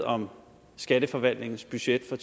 om skatteforvaltningens budget for